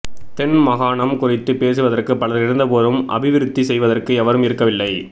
தென் மாகாணம் குறித்து பேசுவதற்கு பலர் இருந்தபோதும் அபிவிருத்தி செய்வதற்கு எவரும் இருக்கவில்லை